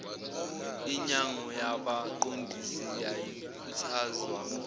inyango yabaqondisi yayikhuthazwa